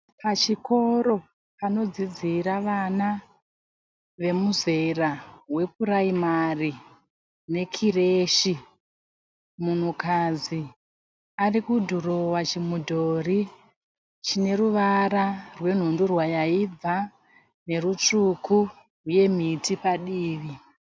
Pachikoro panodzidzira vana vemuzera wepuraimari nekireshi. Munhukadzi arikudhirowa chimudhori chine ruvara rwenhundurwa yaibva nerutsvuku uye miti padivi.